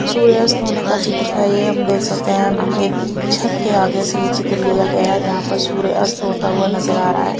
सूर्यस्त होने का चित्र है यह हम देख सकते हैं एक छत के आगे से ये चित्र लिया गया है जहां पर सूर्य अस्त होता हुआ नजर आ रहा है।